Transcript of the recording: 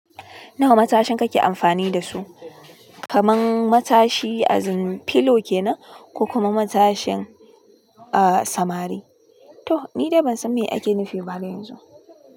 Nawa matashin kake amfani da su? Kaman matashi azin filo kenan, ko kuma matashin, ah, samari? Toh, ni dai ban san me ake nufi ba har yanzu.